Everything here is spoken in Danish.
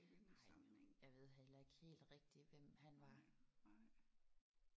Nej jeg ved heller ikke helt rigtigt hvem han var